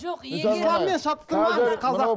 жоқ егер исламмен шатыстырмаңыз